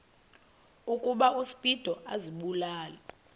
ukuba uspido azibulale